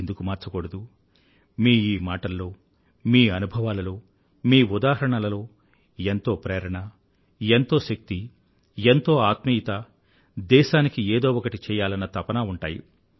ఎందుకు మార్చకూడదు మీ ఈ మాటల్లో మీ అనుభవాలలో మీ ఉదాహరణలలో ఎంతో ప్రేరణ ఎంతో శక్తి ఎంతో ఆత్మీయత దేశానికి ఎదో ఒకటి చెయ్యాలన్న తపన ఉంటాయి